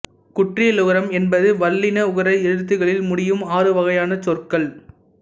குற்றியலுகரம் என்பது வல்லின உகர எழுத்துக்களில் முடியும் ஆறு வகையான சொற்கள்